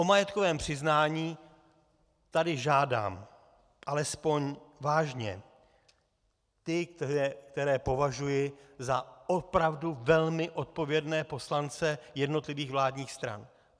O majetkové přiznání tady žádám alespoň vážně ty, které považuji za opravdu velmi odpovědné poslance jednotlivých vládních stran.